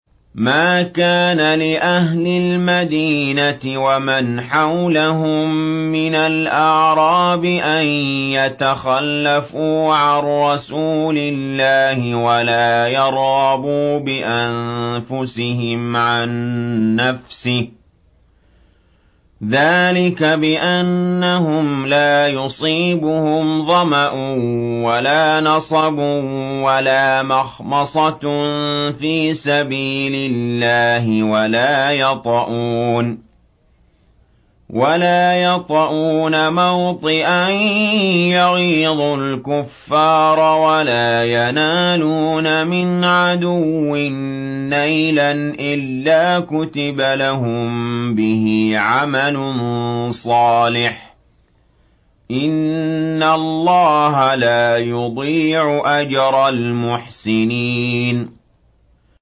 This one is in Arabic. مَا كَانَ لِأَهْلِ الْمَدِينَةِ وَمَنْ حَوْلَهُم مِّنَ الْأَعْرَابِ أَن يَتَخَلَّفُوا عَن رَّسُولِ اللَّهِ وَلَا يَرْغَبُوا بِأَنفُسِهِمْ عَن نَّفْسِهِ ۚ ذَٰلِكَ بِأَنَّهُمْ لَا يُصِيبُهُمْ ظَمَأٌ وَلَا نَصَبٌ وَلَا مَخْمَصَةٌ فِي سَبِيلِ اللَّهِ وَلَا يَطَئُونَ مَوْطِئًا يَغِيظُ الْكُفَّارَ وَلَا يَنَالُونَ مِنْ عَدُوٍّ نَّيْلًا إِلَّا كُتِبَ لَهُم بِهِ عَمَلٌ صَالِحٌ ۚ إِنَّ اللَّهَ لَا يُضِيعُ أَجْرَ الْمُحْسِنِينَ